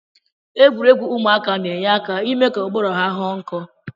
Egwuregwu ụmụaka na-enye aka ime ka ụbụrụ ya ghọọ nkọ